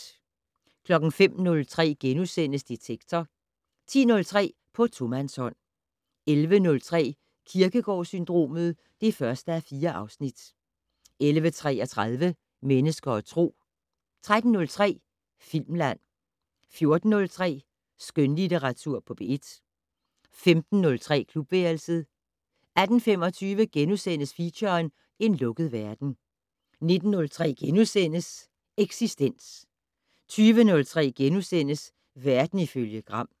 05:03: Detektor * 10:03: På tomandshånd 11:03: Kierkegaard-syndromet (1:4) 11:33: Mennesker og Tro 13:03: Filmland 14:03: Skønlitteratur på P1 15:03: Klubværelset 18:25: Feature: En lukket verden * 19:03: Eksistens * 20:03: Verden ifølge Gram *